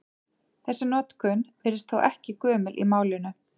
Þessi notkun virðist þó ekki gömul í málinu.